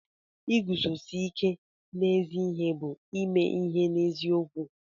Iguzosi ike n'ezi ihe bụ ime ihe n'eziokwu.